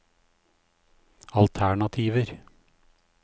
alternativer